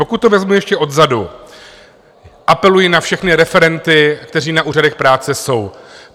Pokud to vezmu ještě odzadu, apeluji na všechny referenty, kteří na úřadech práce jsou.